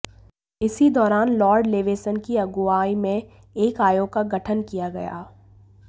इसी दौरान Lord Leveson की अगुवाई में एक आयोग का गठन किया गया